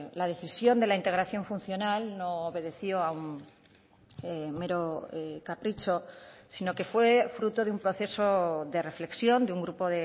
la decisión de la integración funcional no obedeció a un mero capricho sino que fue fruto de un proceso de reflexión de un grupo